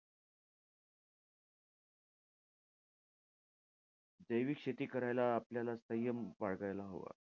जैविक शेती करायला आपल्याला संयम बाळगायला हवा.